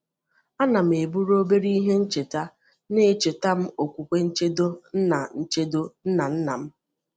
A ana m eburu obere ihe ncheta na-echeta m okwukwe nchedo nna nchedo nna nna m.